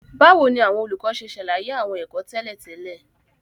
Báwo ni àwọn olùkọ́ ṣe ṣàlàyé àwọn ẹ̀kọ́ tẹ́lẹ̀ tẹ́lẹ̀?